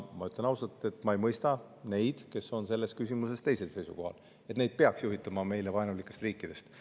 Ma ütlen ausalt, et ma ei mõista neid, kes on selles küsimuses teisel seisukohal,, et neid peaks juhitama meile vaenulikest riikidest.